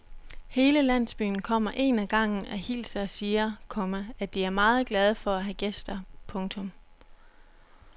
Hele landsbyen kommer en ad gangen og hilser og siger, komma at de er meget glade for at have gæster. punktum